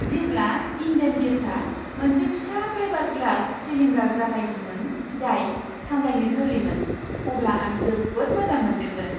जेब्ला इन्डेन गेसआ मोनसे फिसा फाइबार ग्लास सिलिन्डार जागायदोंमोन जाय सामलायनो गोरलैमोन अब्ला आं जोबोद मोजां मोनदोंमोन।